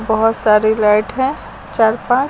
बहोत सारी लाइट हैं चार पांच--